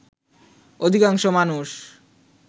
অধিকাংশ মানুষ